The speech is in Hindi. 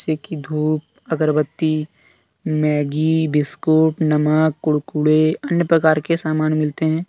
धूप अगरबत्ती मैगी बिस्कुट नमक कुड़कुड़े अन्य प्रकार के सामान मिलते हैं।